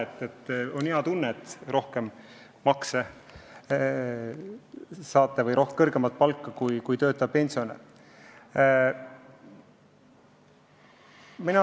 Teil on hea tunne, et saate kõrgemat palka kui töötav pensionär.